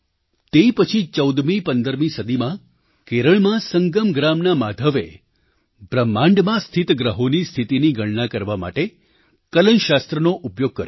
તે પછી ચૌદમીપંદરમી સદીમાં કેરળમાં સંગમ ગ્રામના માધવે બ્રહ્માંડમાં સ્થિત ગ્રહોની સ્થિતિની ગણના કરવા માટે કલનશાસ્ત્રનો ઉપયોગ કર્યો